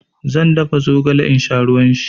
Zan dafa zogale in sha ruwan shi.